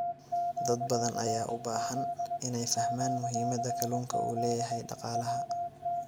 Dad badan ayaa u baahan inay fahmaan muhiimadda kalluunka u leeyahay dhaqaalaha.